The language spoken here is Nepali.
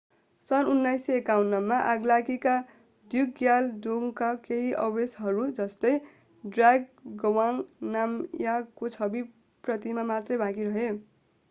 सन् 1951 मा आगलागीले ड्रुकग्याल डोङका केही अवशेषहरू जस्तै जाब्ड्रङ गवांग नामग्यालको छवि प्रतिमा मात्रै बाँकी रहे